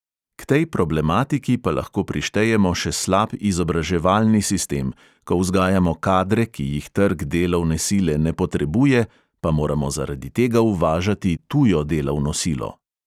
K tej problematiki pa lahko prištejemo še slab izobraževalni sistem, ko vzgajamo kadre, ki jih trg delovne sile ne potrebuje, pa moramo zaradi tega uvažati tujo delovno silo.